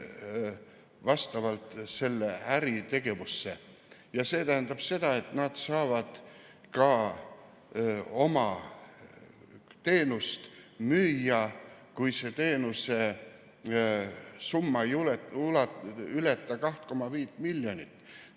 Ja see tähendab ka seda, et nad saavad oma teenust müüa, kui teenuse summa ei ületa 2,5 miljonit eurot.